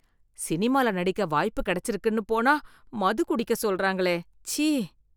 சினிமால நடிக்க வாய்ப்பு கெடச்சிருக்குன்னு போனா மது குடிக்க சொல்றாங்களே, ச்சீ.